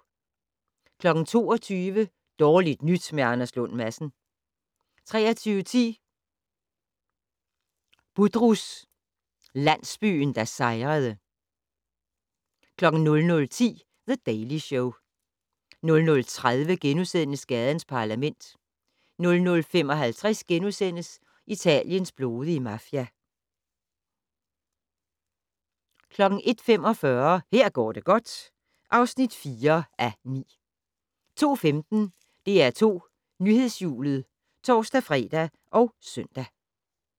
22:00: Dårligt nyt med Anders Lund Madsen 23:10: Budrus - landsbyen der sejrede 00:10: The Daily Show 00:30: Gadens Parlament * 00:55: Italiens blodige mafia * 01:45: Her går det godt (4:9) 02:15: DR2 Nyhedshjulet (tor-fre og søn)